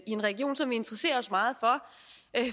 en region som vi interesserer os meget for